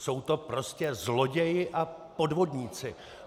Jsou to prostě zloději a podvodníci.